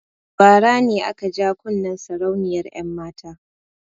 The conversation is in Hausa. Bara ne aka ja kunnen sarauniyar 'yanmata.